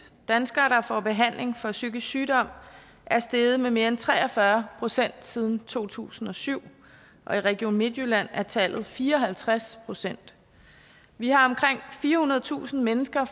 danskere der får behandling for psykisk sygdom er steget med mere end tre og fyrre procent siden to tusind og syv og i region midtjylland er tallet fire og halvtreds procent vi har omkring firehundredetusind mennesker